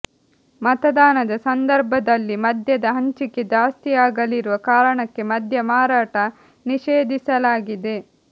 ಮತದಾನದ ಸಂದರ್ಭದಲ್ಲಿ ಮದ್ಯದ ಹಂಚಿಕೆ ಜಾಸ್ತಿಯಾಗಲಿರುವ ಕಾರಣಕ್ಕೆ ಮದ್ಯ ಮಾರಾಟ ನಿಷೇಧಿಸಲಾಗಿದೆ